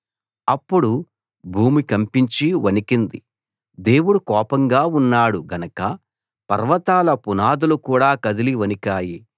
అప్పుడు భూమి కంపించి వణికింది దేవుడు కోపంగా ఉన్నాడు గనక పర్వతాల పునాదులు కూడా కదిలి వణికాయి